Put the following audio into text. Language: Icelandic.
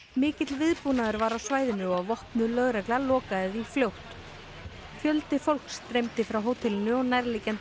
mikill viðbúnaður var á svæðinu og vopnuð lögregla lokaði því fljótt fjöldi fólks streymdi frá hótelinu og nærliggjandi